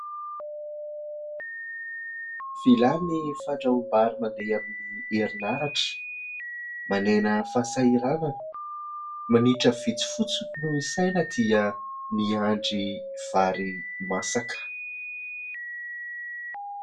Vilany fandrahom-bary mandeha amin'ny herinaratra, manena ny fahasahiranana. Minitra vitsy fotsiny no isaina dia miandry vary masaka.